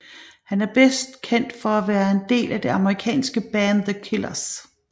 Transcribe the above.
Han er bedst kendt for at være en del af det amerikanske band The Killers